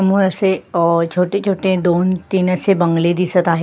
समोर असे अ छोटे छोटे दोन तीन असे बंगले दिसत आहे.